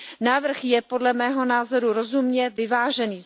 Návrh je podle mého názoru rozumně vyvážený.